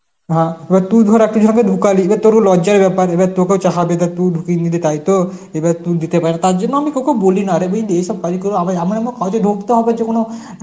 হ্যাঁ এবার তুই ধর আর তুই যাকে ঢুকালি এবার তোরও লজ্জার ব্যাপার এবার তোকেও চাহা দিবে তুই ঢুকিয়ে নিলি তাই তো এবার তুই দিতে পার তার জন্য আমি তোকেও বলি না রে বুঝলি, এইসব কাজ করে আমার আমার যে কোন